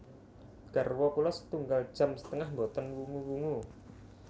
Garwa kula setunggal jam setengah mboten wungu wungu